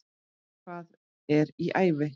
Hvað er í ævi?